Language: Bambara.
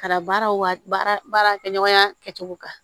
Ka baaraw wa baarakɛɲɔgɔnya kɛcogo kan